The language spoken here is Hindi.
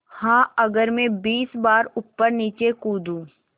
हाँ अगर मैं बीस बार ऊपरनीचे कूदूँ